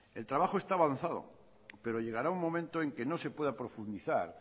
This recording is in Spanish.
el trabajo está avanzado pero llegará un momento en que no se pueda profundizar